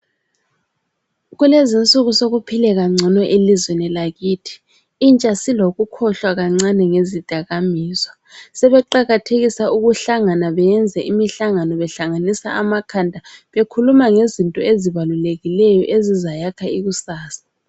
Kulezinsuku sokuphileka ngcono elizweni lakithi. Intsha silokukhohlwa kancane ngezidakamizwa. Sebeqakathekisa ukuhlangana beyenze imihlangano behlanganisa amakhanda bekhuluma ngezinto ezibalulekileyo, ezizayakha ikusasa.